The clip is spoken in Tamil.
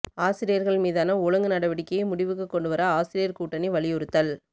ஆசிரியா்கள் மீதான ஒழுங்கு நடவடிக்கையை முடிவுக்கு கொண்டுவர ஆசிரியா் கூட்டணி வலியுறுத்தல்